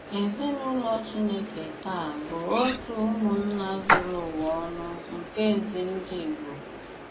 Èzìnùlò Chìnékè tàà bụ òtù ùmụ̀nnà zùrù ùwa ònù nke ezi ndị Ìgbò.